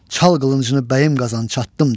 Çal qılıncını bəyəm qazan çattım, dedi.